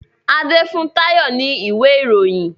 Ade fún Tayo ní ìwé Ìròyìn.